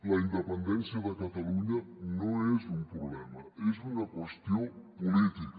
la independència de catalunya no és un problema és una qüestió política